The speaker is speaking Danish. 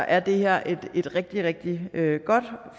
er det her et rigtig rigtig godt